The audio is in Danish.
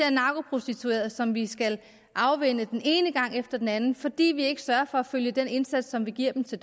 er narkoprostituerede som vi skal afvænne den ene gang efter den anden fordi vi ikke sørger for at følge den indsats som vi giver dem til